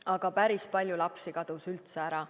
Aga päris palju lapsi kadus üldse ära.